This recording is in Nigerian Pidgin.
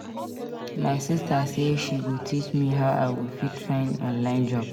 My sista sey she go teach me how I go fit find online job.